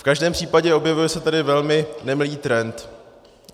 V každém případě, objevuje se tady velmi nemilý trend.